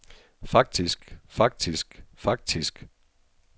faktisk faktisk faktisk